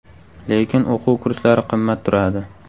Lekin o‘quv kurslari qimmat turadi.